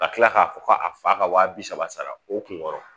Ka tila k'a fɔ k'a fa ka wa bi saba sara o kun kɔrɔ